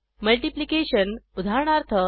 multiplication उदाहरणार्थ